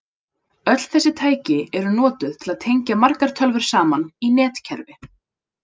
Öll þessi tæki eru notuð til að tengja margar tölvur saman í netkerfi.